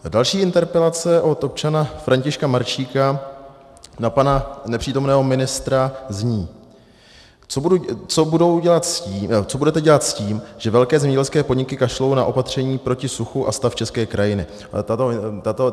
Další interpelace od občana Františka Maršíka na pana nepřítomného ministra zní: Co budete dělat s tím, že velké zemědělské podniky kašlou na opatření proti suchu a stav české krajiny?